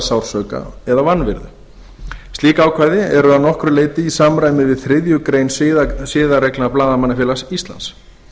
sársauka eða vanvirðu slík ákvæði eru að nokkru leyti í samræmi við þriðju grein siðareglna blaðamannafélags íslands